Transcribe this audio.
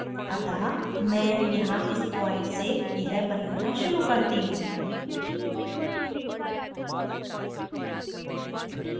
अतः मैं यहाँ इस प्वॉइंट से यह बनाना शुरू करती हूँ